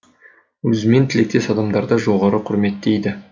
өзімен тілектес адамдарды жоғары құрметтейді